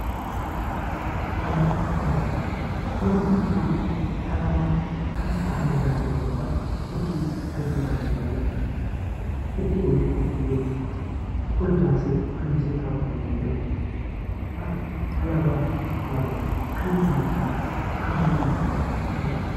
Alaabaa fi asxaa Yeroo hundumaa alaabaa fi asxaa kan ijaan arguu barbaadu yookaan arguu kanan barbaadu baayyee jaalladhu iddoo hojii kootti illee ol baasee fannisee kaa'uu kanan jaalladhu, alaabaa abbaa gadaa kanan baayyee jaalladhu , kan baayyee na gammachiisu, na boqochiisu.